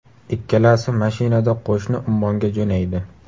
Ikkalasi mashinada qo‘shni Ummonga jo‘naydi.